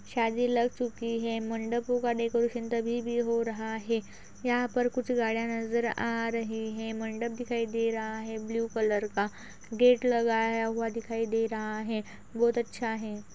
शादी लग चुकी है। मंडपों का डेकोरेशन तभी भी हो रहा है। यहाँ पर कुछ गार्डन नज़र आ रहे हैं। मंडप दिखाई दे रहा है। ब्लू कलर का गेट लगाया हूआ दिखाई दे रहा है। बहोत अच्छ है।